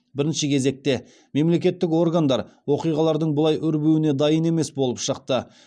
бірінші кезекте мемлекеттік органдар оқиғалардың бұлай өрбуіне дайын емес болып шықты